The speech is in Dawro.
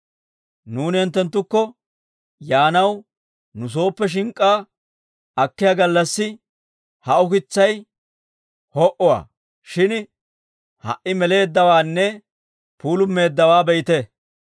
«Nuuni hinttenttukko yaanaw nu sooppe shink'k'aa akkiyaa gallassi, ha ukitsay ho'uwaa; shin ha"i meleeddawaanne puulumeeddawaa be'ite!